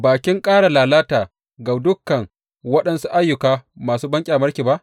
Ba kin ƙara lalata ga dukan waɗansu ayyuka masu banƙyamarki ba?